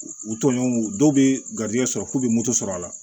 U u tɔɲɔgɔnw dɔw bɛ garijɛgɛ sɔrɔ k'u bɛ moto sɔrɔ a la